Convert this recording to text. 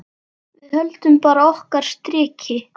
Við höldum bara okkar striki.